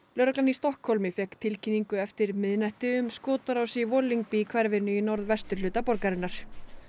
lögreglan í Stokkhólmi fékk tilkynningu eftir miðnætti um skotárás í hverfinu í norðvesturhluta borgarinnar